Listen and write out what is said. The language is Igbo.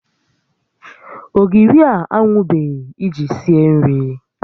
Ogiri a anwụbeghị iji sie nri